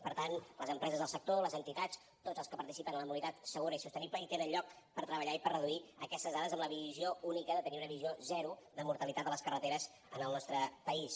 per tant les empreses del sector les entitats tots els que participen en la mobilitat segura i sostenible hi tenen lloc per treballar i per reduir aquestes dades amb la visió única de tenir una visió zero de mortalitat a les carreteres en el nostre país